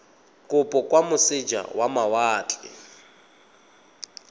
kopo kwa moseja wa mawatle